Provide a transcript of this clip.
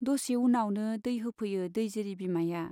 दसे उनावनो दै होफैयो दैजिरि बिमाया।